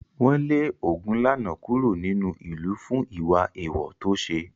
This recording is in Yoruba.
Wọ́n lé Ogunlana kúrò nínú ìlú fún ìwà èèwọ̀ tó ṣe.